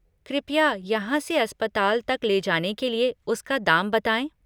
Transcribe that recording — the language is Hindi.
कृपया यहाँ से अस्पताल तक ले जाने के लिए उसका दाम बताएँ?